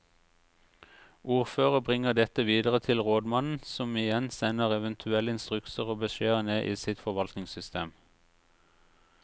Ordfører bringer dette videre til rådmannen som igjen sender eventuelle instrukser og beskjeder ned i sitt forvaltningssystem.